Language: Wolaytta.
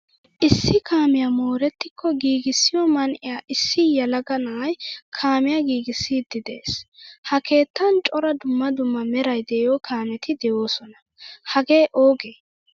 Issi kaamiyaa moorettiko giigisiyo man'iyan issi yelaga na'ay kaamiyaa giigisidi de'ees. Ha keettan cora dumma dumma meray deiyo kaameti deosona. Hagee oogee?